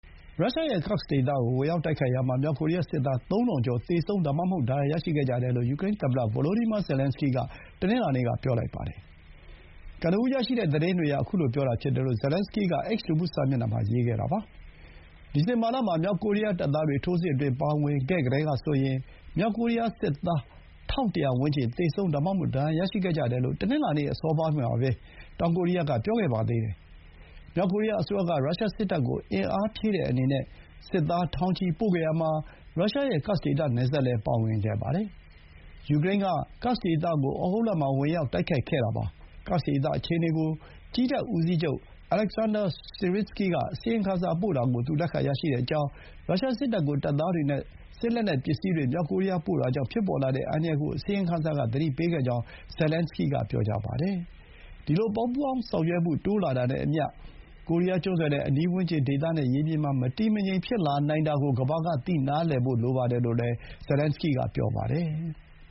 ရုရှားရဲ့ Kursk ဒေသကို ဝင်ရောက် တိုက်ခိုက်ရာမှာ မြောက်ကိုရီးယား စစ်သား ၃၀၀၀ ကျော် သေဆုံး ဒါမှမဟုတ် ဒဏ်ရာ ရရှိခဲ့ကြတယ်လို့ ယူကရိန်း သမ္မတ ဗိုလိုဒီမာ ဇယ်လန်စကီးက တနင်္လာနေ့က ပြောပါတယ်။ ကနဦး ရရှိတဲ့ သတင်းတွေအရ အခုလို ပြောတာ ဖြစ်တယ်လို့ ဇယ်လန်စကီး က X လူမှု စာမျက်နှာမှာ ရေးခဲ့တာပါ။ ဒီဇင်ဘာလ မှာ မြောက်ကိုရီးယား တပ်သားတွေ ထိုးစစ်အတွင်း ပါဝင်ခဲ့ကတည်းကဆိုရင် မြောက်ကိုရီးယား စစ်သား ၁၁၀၀ ဝန်းကျင် သေဆုံး ဒါမှမဟုတ် ဒဏ်ရာရရှိခဲ့ကြတယ်လို့ တနင်္လာနေ့ အစောပိုင်းမှာ တောင်ကိုရီးယား က ပြောခဲ့ပါတယ်။ မြောက်ကိုရီးယား အစိုးရ က ရုရှားစစ်တပ်ကို အင်အားဖြည့်တဲ့အနေနဲ့ စစ်သား ထောင်ချီပို့ခဲ့ရာမှာ ရုရှားရဲ့ Kursk ဒေသ နယ်စပ်လည်း ပါဝင်ခဲ့ပါတယ်။ ယူကရိန်းက ကာက်စ်ဒေသကို ဩဂုတ်လမှာ ဝင်ရောက် တိုက်ခိုက်ခဲ့တာပါ။ ကာ့က်စ်ဒေသ အခြေအနေ ကို ကြည်းတပ် ဦးစီးချုပ် Oleksandr Syrsky က အစီရင်ခံစာ ပို့တာကို သူ လက်ခံရရှိကြောင်း၊ ရုရှား စစ်တပ်ကို တပ်သားတွေ နဲ့ စစ်လက်နက်ပစ္စည်းတွေ မြောက်ကိုရီးယား ပို့တာကြောင့် ဖြစ်ပေါ်လာတဲ့ အန္တရာယ်ကို အစီရင်ခံစာ က သတိပေးခဲ့ကြောင်း ဇယ်လန်စကီးက ပြောပါတယ်။ ဒီလို ပူးပေါင်းဆောင်ရွက်မှု တိုးလာတာနဲ့အမျှ ကိုရီးယား ကျွန်းဆွယ်နဲ့ အနီးဝန်းကျင် ဒေသနဲ့ ရေပြင်မှာ မတည်မငြိမ် ဖြစ်နိုင်တာကို ကမ္ဘာက နားလည်ဖို့ လိုပါတယ်လို့လည်း သူက ပြောပါတယ်။